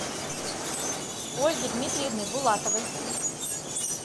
ольги дмитриевны булатовой